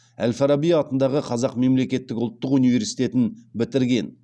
әл фараби атындағы қазақ мемлекеттік ұлттық университетін бітірген